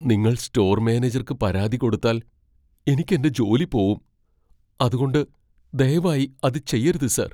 നിങ്ങൾ സ്റ്റോർ മാനേജർക്ക് പരാതി കൊടുത്താൽ എനിക്ക് എന്റെ ജോലി പോവും , അതുകൊണ്ട് ദയവായി അത് ചെയ്യരുത്, സർ.